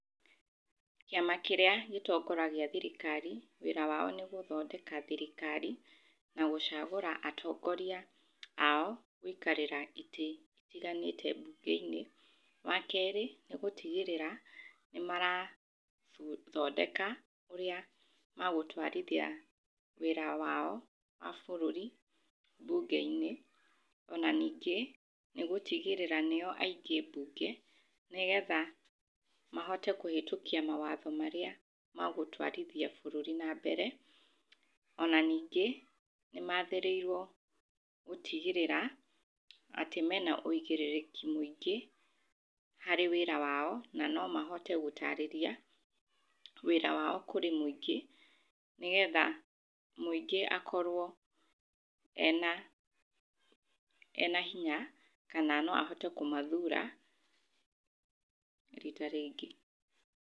Kĩama kĩrĩa gĩtongoragia thirikari wĩra wao nĩ gũthondeka thirikari na gũcagũra atongoria ao gũikarĩra itĩ itiganĩte mbunge-inĩ. Wakerĩ nĩgũtigĩrĩra nĩmarabu, thondeka ũrĩa magũtwarithia wĩra wao wa bũrũri mbunge-inĩ, ona ningĩ nĩ gũtigĩrĩra nĩo aingĩ mbunge nĩgetha mahote kũhĩtũkia mawatho marĩa magũtwarithia bũrũri nambere. Ona ningĩ nĩmathĩrĩirwo gũtigĩrĩra atĩ mena ũigĩrĩrĩki mũingĩ harĩ wĩra wao na nomahote gũtarĩria wĩra wao kũrĩ mũingĩ, nĩgetha mũingĩ akorwo ena, ena hinya kana no ahote kũmathuura rita rĩngĩ.